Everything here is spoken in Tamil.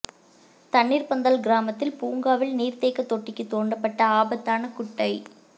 தண்ணீர் பந்தல் கிராமத்தில் பூங்காவில் நீர்தேக்க தொட்டிக்கு தோண்டப்பட்ட ஆபத்தான குட்டை